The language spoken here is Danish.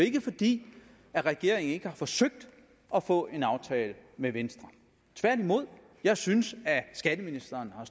ikke fordi regeringen ikke har forsøgt at få en aftale med venstre tværtimod jeg synes at skatteministeren har